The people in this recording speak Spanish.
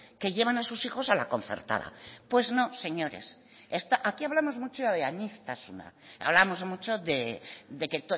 que llevan a sus hijos a la concertada pues no señores aquí hablamos mucho de aniztasuna hablamos mucho de que